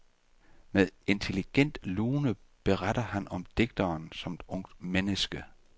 Med intelligent lune beretter han om digteren som ungt menneske.